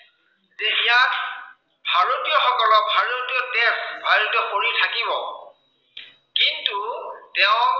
যে ইয়াত ভাৰতীয়সকলক ভাৰতীয় তেজ, ভাৰতীয় শৰীৰ থাকিব কিন্তু তেওঁৰ